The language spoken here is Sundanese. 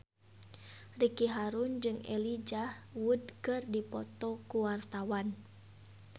Ricky Harun jeung Elijah Wood keur dipoto ku wartawan